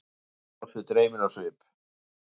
Halli brosti, dreyminn á svip.